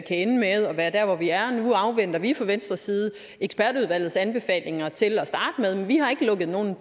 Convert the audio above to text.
ende med at være der hvor vi er nu afventer vi fra venstres side ekspertudvalgets anbefalinger til at starte med men vi har ikke lukket nogen